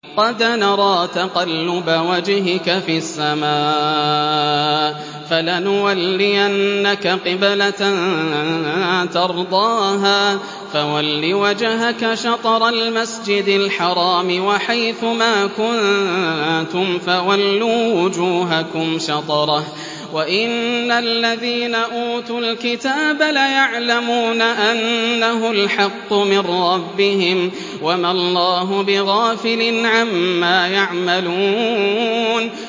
قَدْ نَرَىٰ تَقَلُّبَ وَجْهِكَ فِي السَّمَاءِ ۖ فَلَنُوَلِّيَنَّكَ قِبْلَةً تَرْضَاهَا ۚ فَوَلِّ وَجْهَكَ شَطْرَ الْمَسْجِدِ الْحَرَامِ ۚ وَحَيْثُ مَا كُنتُمْ فَوَلُّوا وُجُوهَكُمْ شَطْرَهُ ۗ وَإِنَّ الَّذِينَ أُوتُوا الْكِتَابَ لَيَعْلَمُونَ أَنَّهُ الْحَقُّ مِن رَّبِّهِمْ ۗ وَمَا اللَّهُ بِغَافِلٍ عَمَّا يَعْمَلُونَ